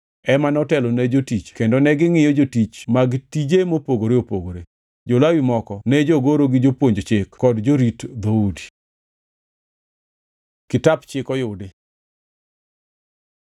ema notelo ne jotich kendo negingʼiyo jotich mag tije mopogore opogore. Jo-Lawi moko ne jogoro gi jopuonj chike kod jorit dhoudi. Kitap Chik oyudi